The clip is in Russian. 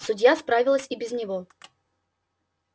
судья справилась и без него